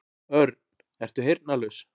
Örn, ertu heyrnarlaus?